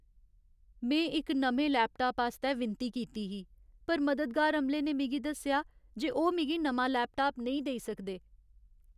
में इक नमें लैपटाप आस्तै विनती कीती ही पर मददगार अमले ने मिगी दस्सेआ जे ओह् मिगी नमां लैपटाप नेईं देई सकदे।